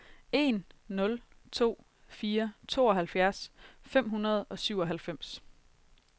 en nul to fire tooghalvfjerds fem hundrede og syvoghalvfems